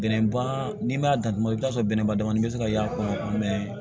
Bɛnɛ ban n'i m'a datugu i bɛ t'a sɔrɔ bɛnɛba dɔgɔnin bɛ se ka y'a kɔnɔ